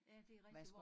Ja det rigtig